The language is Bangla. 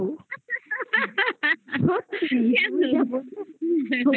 সত্যি কেন আমার এখনই শুনে জিভে জল চলে আসছে যেন মনে হয় আমি খাই